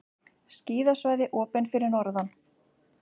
Skíðasvæði opin fyrir norðan